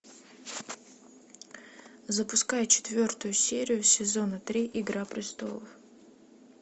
запускай четвертую серию сезона три игра престолов